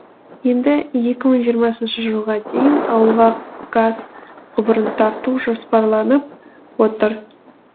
енді екі мың жиырмасыншы жылға дейін ауылға газ құбырын тарту жоспарланып отыр